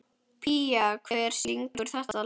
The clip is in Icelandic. Pía, hver syngur þetta lag?